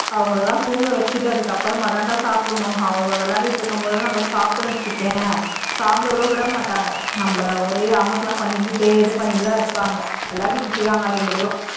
அவங்களை எல்லாம் தூங்க வச்சிட்டு அப்புறம் தாண்டா சாப்பிடனும்அவங்க விளையாடிட்டு இருக்கும்போது சாப்பிட்டோம்னு வச்சுக்கோயேன் சாப்பிடவும் விட மாட்டாங்க நம்மளை ஒரே அமர்க்களம் பண்ணிகிட்டே ஒரே இது பண்ணிகிட்டே தான் இருப்பாங்க விளையாடிட்டு இருக்காங்க இரண்டு பேரும்